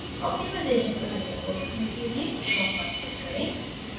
optimisation प्रक्रिया को रोकने के लिए stop पर click करें